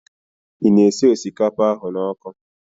Ị na-esi osikapa ahụ n'ọkụ?